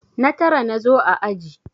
Na tara na zo a aji.